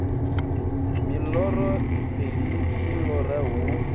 miloro iṱeli u lora hu